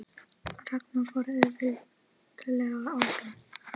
Ragna fór auðveldlega áfram